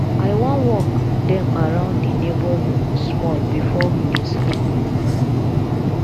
i wan walk dem around the neighborhood small before dey sleep